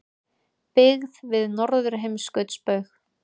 Byggð við Norðurheimskautsbaug.